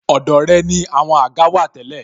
Ọ̀dọ̀ rẹ ni àwọn àga wà tẹ́lẹ̀